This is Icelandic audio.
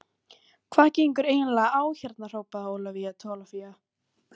Hvað gengur eiginlega á hérna hrópaði Ólafía Tólafía.